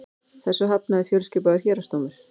Þessu hafnaði fjölskipaður héraðsdómur